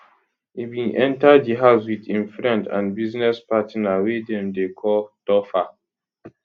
e bin enta di house wit im friend and business partner wey dem dey call topher